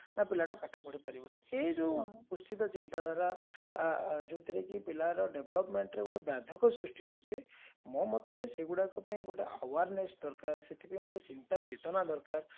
ପିଲାଟା ପାଠ ପଢି ପାରିବନି ସେଇ ଯଉ କୁଶ୍ଚିତ ଚିନ୍ତାଧାରା ଯଉଥିରେ କି ପିଲାର developmentରେ ଗୋଟେ ବ୍ୟାଧକ ସୃଷ୍ଟି ହଉଛି ମୋ ମତରେ ସେଗୁଡାକ ପାଇଏନ ଗୋଟେ awareness ଦରକାର ସେଥିପାଇଁ ଗୋଟେ ଚିନ୍ତା ଚେତନା ଦରକାର